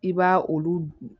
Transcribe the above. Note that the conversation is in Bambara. I b'a olu